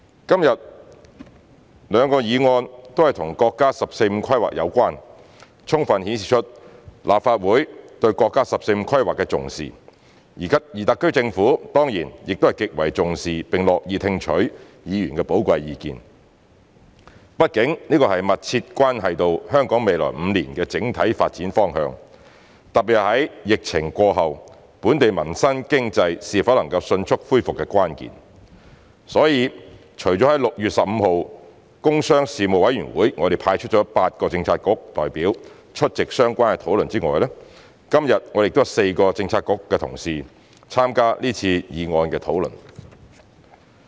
今天兩個議案都和國家"十四五"規劃有關，充分顯示出立法會對國家"十四五"規劃的重視，而特區政府當然亦極為重視並樂意聽取議員的寶貴意見，畢竟這密切關係到香港未來5年的整體發展方向，特別在疫情過後本地民生經濟是否能迅速恢復的關鍵，所以除了在6月15日的工商事務委員會我們派出8個政策局的代表出席相關討論外，今天亦有4個政策局的同事參加這次議案的討論。